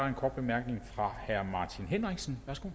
en kort bemærkning fra herre martin henriksen værsgo